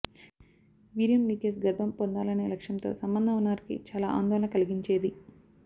వీర్యం లీకేజ్ గర్భం పొందాలనే లక్ష్యంతో సంబంధం ఉన్నవారికి చాలా ఆందోళన కలిగించేది